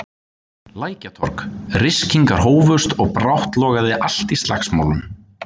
Lækjartorg, ryskingar hófust og brátt logaði allt í slagsmálum.